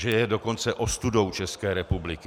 Že je dokonce ostudou České republiky.